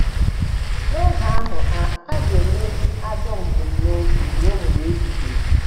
N’oge ahụ, a, a ga - emeri ajọ mbunobi ruo mgbe ebighị ebi.